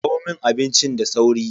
Kawo mun abinci da sauri.